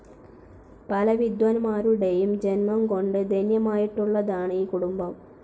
പല വിദ്വാൻമാരുടെയും ജന്മംകൊണ്ട് ധന്യമായിട്ടുള്ളതാണ് ഈ കുടുംബം.